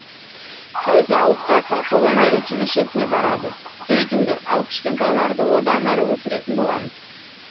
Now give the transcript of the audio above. кім зауытқа кім қолөнер училищесіне барады сөйтіңдер ал кішкентайларды одан әрі өсіретін боламыз